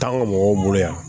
T'an ka mɔgɔw bolo yan